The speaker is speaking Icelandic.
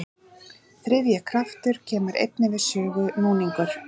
Þriðji kraftur kemur einnig við sögu, núningur.